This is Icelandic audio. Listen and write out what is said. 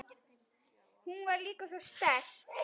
Hún var líka svo sterk.